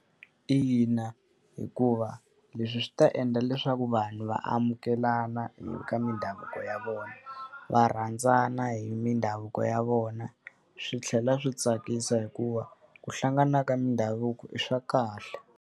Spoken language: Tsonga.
Ina, hikuva leswi swi ta endla leswaku vanhu va amukelana ka mindhavuko ya vona. Va rhandzana hi mindhavuko ya vona, swi tlhela swi tsakisa hikuva ku hlangana ka mindhavuko i swa kahle.